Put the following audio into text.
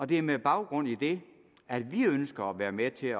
det er med baggrund i det at vi ønsker at være med til at